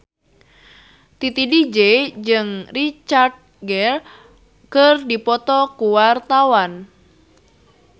Titi DJ jeung Richard Gere keur dipoto ku wartawan